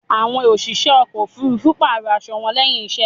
Àwọn òṣìṣẹ́ ọkò òfurufú pààrò aṣo wọn lẹ́hìn iṣẹ́.